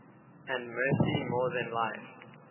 and mercy more than life